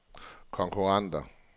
konkurrenter